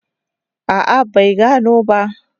A'a bai gano ba.